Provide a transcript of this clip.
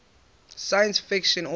science fiction authors